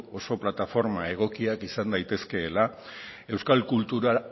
oso plataforma egokiak izan daitezkeela euskal kultura